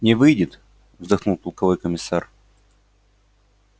не выйдет вздохнул полковой комиссар